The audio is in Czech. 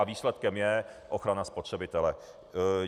A výsledkem je ochrana spotřebitele.